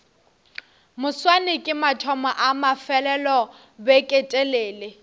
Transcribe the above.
moswane ke mathomo a mafelelobeketelele